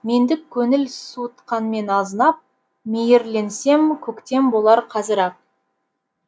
мендік көңіл суытқанмен азынап мейірленсем көктем болар қазір ақ